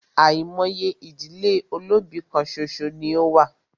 Àìmọye ìdílé olóbì kán ṣoṣo ní o wà.